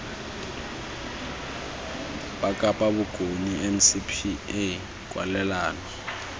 ba kapa bokone ncpa kwalelano